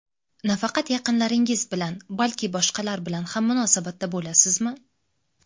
Nafaqat yaqinlaringiz bilan, balki boshqalar bilan ham munosabatda bo‘lasizmi?